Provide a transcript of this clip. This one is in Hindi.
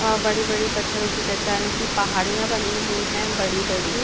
अ बड़े-बड़े पत्थरों की चट्टानों की पहाड़ियाँ बनी हुई है बड़ी-बड़ी--